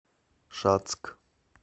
шацк